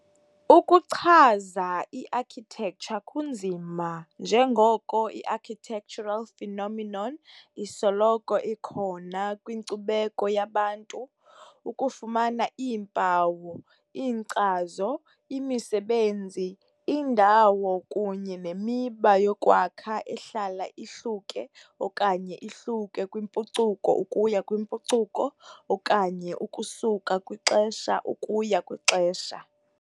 Ukuchaza i-architecture kunzima njengoko i-architectural phenomenon isoloko ikhona kwinkcubeko yabantu, ukufumana iimpawu, iinkcazo, imisebenzi, indawo kunye nemiba yokwakha ehlala ihluke okanye ihluke kwimpucuko ukuya kwimpucuko okanye ukusuka kwixesha ukuya kwixesha.